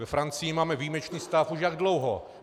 Ve Francii máme výjimečný stav už jak dlouho.